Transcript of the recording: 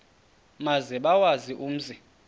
maze bawazi umzi